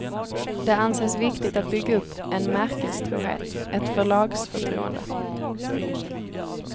Det anses viktigt att bygga upp en märkestrohet, ett förlagsförtroende.